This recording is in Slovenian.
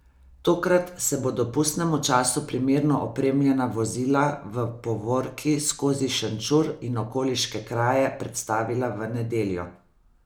Tokrat se bodo pustnemu času primerno opremljena vozila v povorki skozi Šenčur in okoliške kraje predstavila v nedeljo.